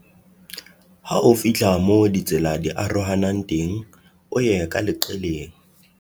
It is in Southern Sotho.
Ha o fihla moo ditsela di arohanang teng o ye ka leqeleng.